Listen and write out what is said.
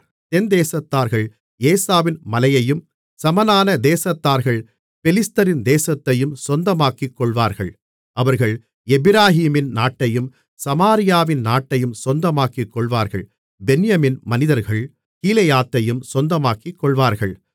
தென்தேசத்தார்கள் ஏசாவின் மலையையும் சமனான தேசத்தார்கள் பெலிஸ்தரின் தேசத்தையும் சொந்தமாக்கிக்கொள்வார்கள் அவர்கள் எப்பிராயீமின் நாட்டையும் சமாரியாவின் நாட்டையும் சொந்தமாக்கிக்கொள்வார்கள் பென்யமீன் மனிதர்கள் கீலேயாத்தையும் சொந்தமாக்கிக்கொள்வார்கள்